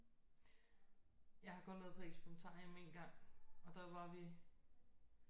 Jeg har kun været på Experimentarium én gang og der var vi